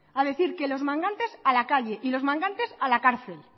a decir que los mangantes a la calle y los mangantes a la cárcel